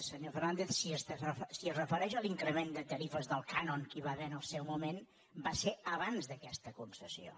senyor fernàndez si es refereix a l’increment de tarifes del cànon que hi va haver en el seu moment va ser abans d’aquesta concessió